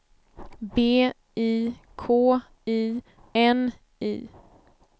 B I K I N I